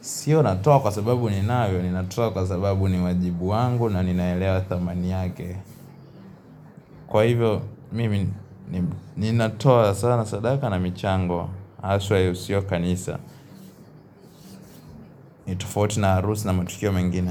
Sio natoa kwa sababu ninayo, ninatoa kwa sababu ni wajibu wangu na ninaelewa thamani yake. Kwa hivyo, mimi ninatoa sana sadaka na michango, haswa yahusio kanisa. Nitofauti na harusi na matukio mengine.